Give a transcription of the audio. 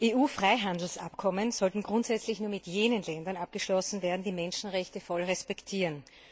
EU Freihandelsabkommen sollten grundsätzlich nur mit jenen Ländern abgeschlossen werden, die die Menschenrechte voll respektieren.